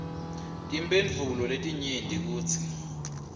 timphendvulo letinyenti kutsi